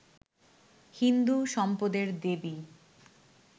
হিন্দু সম্পদের দেবী